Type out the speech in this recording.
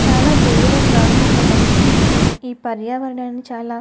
చాలా దూరంగా ఒక మనిషి నుంచుని ఈ పర్యావరణం చాలా --